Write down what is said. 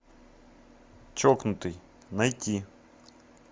чокнутый найти